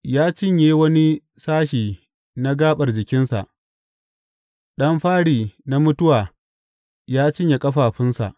Ya cinye wani sashe na gaɓar jikinsa; ɗan fari na mutuwa ya cinye ƙafafunsa.